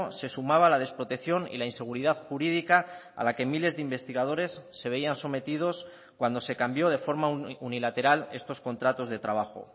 se sumaba la desprotección y la inseguridad jurídica a la que miles de investigadores se veían sometidos cuando se cambió de forma unilateral estos contratos de trabajo